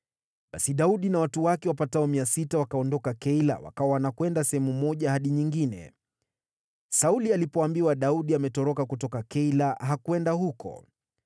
Basi Daudi na watu wake, wapatao 600, wakaondoka Keila wakawa wanakwenda sehemu moja hadi nyingine. Sauli alipoambiwa Daudi ametoroka kutoka Keila, hakwenda huko.